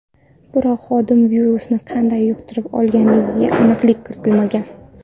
Biroq xodim virusni qanday yuqtirib olganiga aniqlik kiritilmagan.